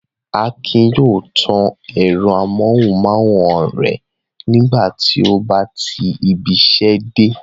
Akin yóò tan ẹ̀rọ amóhùmáwòhán rẹ̀ nígbà tí ó bá ti ibiṣẹ́ dé.